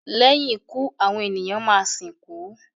lẹ́yìn ikú àwọn ènìyàn má sìnkú.